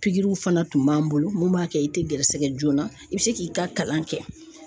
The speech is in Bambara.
Pikiriw fana tun b'an bolo mun b'a kɛ i tɛ gɛrɛsɛgɛ joona i bɛ se k'i ka kalan kɛ